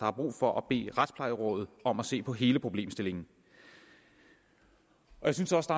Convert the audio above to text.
er brug for at bede retsplejerådet om at se på hele problemstillingen jeg synes også